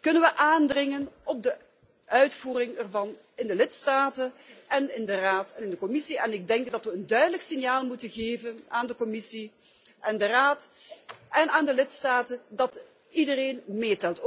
kunnen we aandringen op de uitvoering ervan in de lidstaten en in de Raad en de Commissie. Ik denk dat we een duidelijk signaal moeten geven aan de Commissie, de Raad en de lidstaten dat iedereen meetelt.